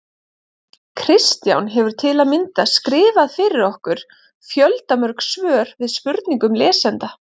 Kristján hefur til að mynda skrifað fyrir okkur fjöldamörg svör við spurningum lesenda.